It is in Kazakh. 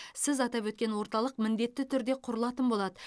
сіз атап өткен орталық міндетті түрде құрылатын болады